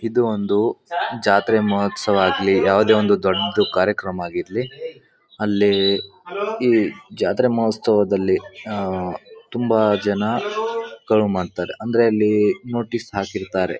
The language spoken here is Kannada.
ಇದು ಒಂದು ಜಾತ್ರೆ ಮೋಹೋತ್ಸವ ಆಗ್ಲಿ ಯಾವದೇ ಒಂದು ದೊಡ್ಡ ಕಾರ್ಯಕ್ರಮ ಆಗಿರ್ಲಿ ಅಲ್ಲಿ ಈ ಜಾತ್ರೆ ಮೊಹೋತ್ಸವ ದಲ್ಲಿ ಆಹ್ಹ್ ತುಂಬಾ ಜನ ಮಾಡ್ತಾರೆ. ಅಂದ್ರೆ ಅಲ್ಲಿ ನೋಟೀಸ್ ಹಾಕಿರ್ತಾರೆ.